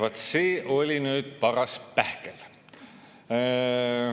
Vaat see oli nüüd paras pähkel.